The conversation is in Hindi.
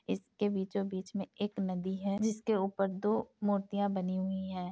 इसके बीचों बीच में एक नदी है जिसके ऊपर दो मूर्तियां बनी हुई है।